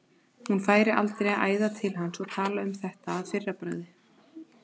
Hún færi aldrei að æða til hans og tala um þetta að fyrra bragði.